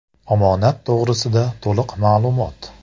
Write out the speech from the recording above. Omonat to‘g‘risida to‘liq ma’lumot .